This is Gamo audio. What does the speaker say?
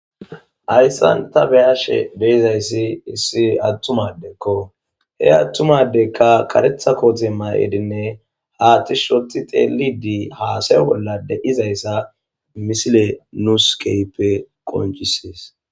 Hayssan ta beyashe dizayssi issi attuma adekko he attuma adekka karetha koote mayidinne haa tish oti xeelidi haasay bolla de'izayssa misile nuus keyppe qoncisees